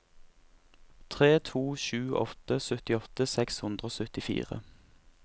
tre to sju åtte syttiåtte seks hundre og syttifire